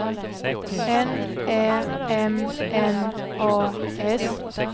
N Ä M N A S